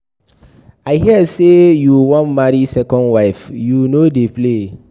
I hear say you wan marry second wife. You no dey play.